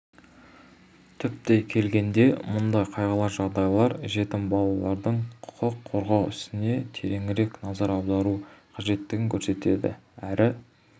түптей келгенде мұндай қайғылы жағдайлар жетім балалардың құқын қорғау ісіне тереңірек назар аудару қажеттігін көрсетеді әрі